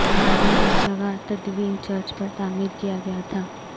بعد میں اس جگہ تدوین چرچ پر تعمیر کیا گیا تھا